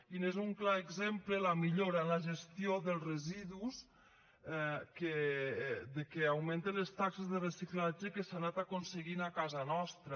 i n’és un clar exemple la millora en la gestió dels residus que augmenten les taxes de reciclatge que s’han anat aconseguint a casa nostra